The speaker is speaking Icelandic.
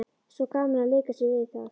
Svo gaman að leika sér við það.